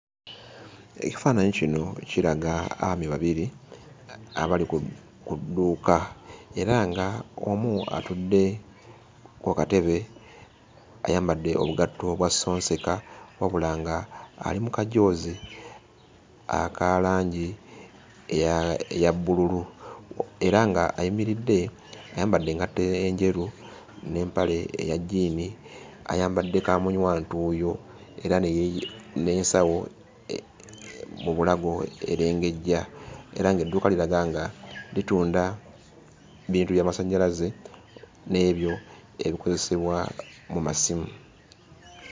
Ekifaananyi kino kiraga abaami babiri abali ku ku dduuka, era ng'omu atudde ku katebe ayambadde obugatto obwa 'sonseka' wabula ng'ali mu kajoozi aka langi eya bbululu era ng'ayimiridde ayambadde engatto enjeru n'empale eya jjiini, ayambadde kamunywantuuyo era n'ensawo mu bulago erengejja. Era ng'edduuka liraga nga litunda bintu bya masannyalaze n'ebyo ebikozesebwa mu masimu.